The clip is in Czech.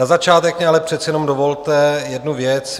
Na začátek mi ale přece jenom dovolte jednu věc.